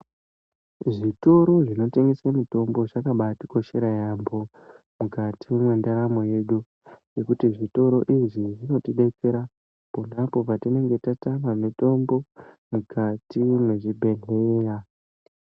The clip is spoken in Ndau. Zvitoro zvinotengeswe mitombo zvakabatikoshera yaambo mukati mwendaramo yedu. Ngekuti zvitoro izvi zvinotidetsera ponapo patinenge tatama mitombo mukati mwezvibhedhleya.